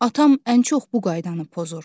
Atam ən çox bu qaydanı pozur.